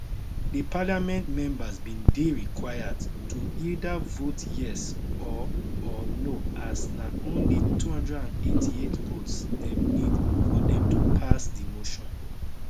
di parliament members bin dey required to either vote yes or or no as na only 288 votes dem need for dem to pass di motion